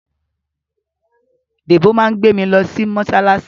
Dèbó máa gbé mi lọ sí mọ́ṣáláṣí